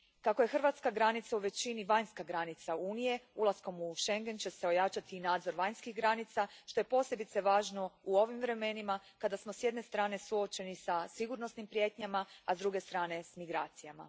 Kako je hrvatska granica u većini vanjska granica Unije, ulaskom u schengen će se ojačati i nadzor vanjskih granica što je posebice važno u ovim vremenima kada smo, s jedne strane, suočeni sa sigurnosnim prijetnjama, a s druge strane, s migracijama.